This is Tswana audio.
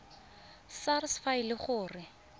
sars fa e le gore